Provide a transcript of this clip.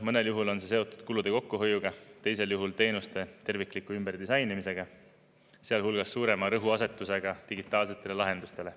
Mõnel juhul on see seotud kulude kokkuhoiuga, teisel juhul teenuste tervikliku ümberdisainimisega, sealhulgas suurema rõhuasetusega digitaalsetele lahendustele.